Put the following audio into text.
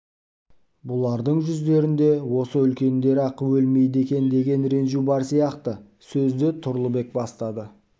бұлардың жүздерінде осы үлкендер-ақ өлмейді екен деген ренжу бар сияқты сөзді тұрлыбек бастады